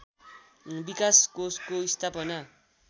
विकास कोषको स्थापनाका